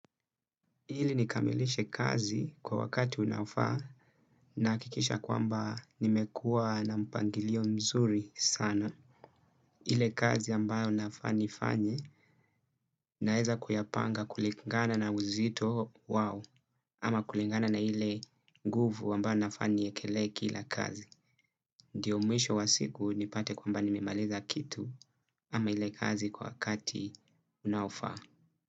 Ili nikamilishe kazi kwa wakati unaofaa na hakikisha kwamba nimekua na mpangilio mzuri sana. Ile kazi ambayo nafaa nifanye naeza kuyapanga kulingana na uzito wao ama kulingana na ile nguvu ambayo nafaa niekelee kila kazi. Ndiyo mwisho wa siku nipate kwamba nimemaliza kitu ama ile kazi kwa wakati unaofaa.